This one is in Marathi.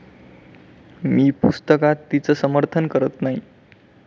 मी पुस्तकात तिचं समर्थन करत नाही.